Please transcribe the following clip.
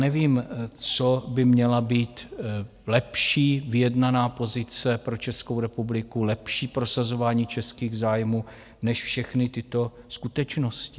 Nevím, co by měla být lepší vyjednaná pozice pro Českou republiku, lepší prosazování českých zájmů než všechny tyto skutečnosti.